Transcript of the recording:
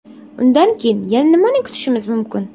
Undan keyin yana nimani kutishimiz mumkin?